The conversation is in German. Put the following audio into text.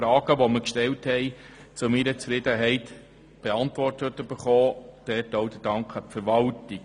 Alle unsere Fragen wurden zu meiner Zufriedenheit beantwortet, deshalb danke ich auch der Verwaltung.